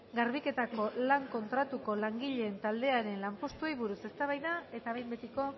garbiketako lan kontratuko langileen taldearen lanpostuei buruz eztabaida eta behin betiko